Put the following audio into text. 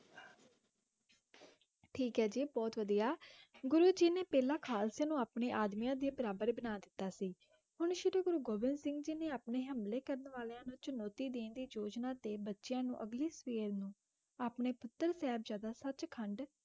ਠੀਕ ਹੈ ਜੀ ਬਹੁਤ ਵਧੀਆ ਗੁਰੂ ਜੀ ਨੇ ਪਹਿਲਾਂ ਖਾਲਸੇ ਨੂੰ ਆਪਣੇ ਆਦਮੀਆਂ ਦੇ ਬਰਾਬਰ ਬਣਾ ਦਿੱਤਾ ਸੀ ਹੁਣ ਸ਼੍ਰੀ ਗੁਰੂ ਗੋਬਿੰਦ ਸਿੰਘ ਜੀ ਨੇ ਆਪਣੇ ਹਮਲੇ ਕਰਨ ਵਾਲਿਆਂ ਨੂੰ ਚੁਣੌਤੀ ਦੇਣ ਦੀ ਯੋਜਨਾ ਤੇ ਬੱਚਿਆਂ ਨੂੰ ਅਗਲੀ ਸਵੇਰ ਨੂੰ ਆਪਣੇ ਪੁੱਤਰ, ਸਾਹਿਬਜ਼ਾਦਾ, ਸੱਚ ਖੰਡ